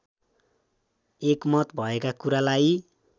एकमत भएका कुरालाई